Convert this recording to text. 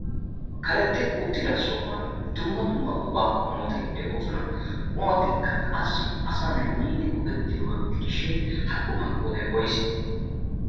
karexxi uttida sohuwan dumma dumma qumaa qumoti de7oosona. ha qumotikka qassi asanai miidi go7ettiyoobaa gidishin haqqumaa qoodai woise?